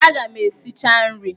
Aga m esicha nri!